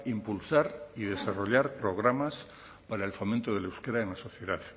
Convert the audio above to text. impulsar y desarrollar programas para el fomento del euskera en la sociedad